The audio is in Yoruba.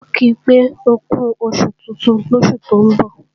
A ò ki pé ókú oṣù tuntun lósù tó ń bọ̀